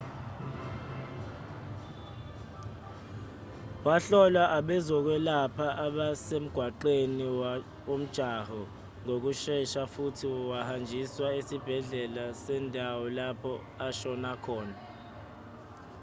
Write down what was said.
wahlolwa abezokwelapha abasemgaqweni womjaho ngokushesha futhi wahanjiswa esibhedlela sendawo lapho ashona khona